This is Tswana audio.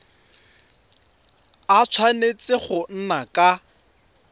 a tshwanetse go nna ka